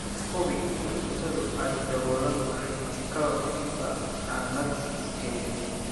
Hubi in cuntadu ay daboolan tahay ka hor inta aanad kaydin.